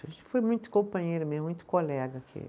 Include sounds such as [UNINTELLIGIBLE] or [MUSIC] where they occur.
a gente foi muito companheira mesmo, muito colega [UNINTELLIGIBLE]